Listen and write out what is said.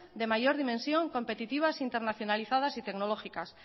de mayor dimensión competitivas internacionalizadas y tecnológicas